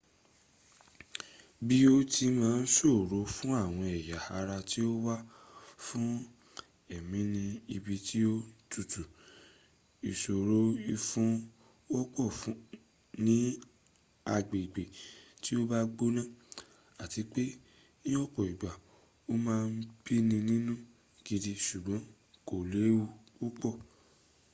bí ó ti máa ń ṣòro fún àwọn ẹ̀yà ara tí ó wà fún èémi ní ibi tí ó tutù ìṣòrò ìfun wọ́pọ̀ ní agbègbè tí ó bá gbónà àti pé ní ọ̀pọ̀ ìgbà a máa bíni nínú gidi ṣùgbọ́n kò léwu púpọ̀